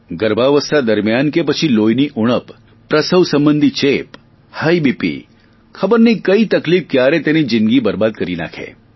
ગર્ભાવસ્થા દરમિયાન કે પછી લોહીની ઉણપ પ્રસવ સંબંધી ચેપ હાઇ બીપી ખબર નહીં કઇ તકલીફ ક્યારે તેની જિંદગી બરબાદ કરી નાખે